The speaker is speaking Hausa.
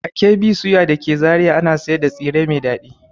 A KB soya da ke Zariya ana sayar da tsire mai dadi.